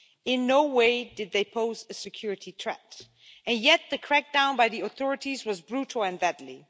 In no way did they pose a security threat, and yet the crackdown by the authorities was brutal and deadly.